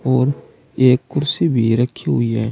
और एक कुर्सी भी रखी हुई है।